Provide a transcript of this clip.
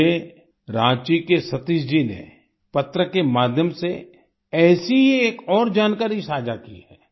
मुझे रांची के सतीश जी ने पत्र के माध्यम से ऐसी ही एक और जानकारी साझा की है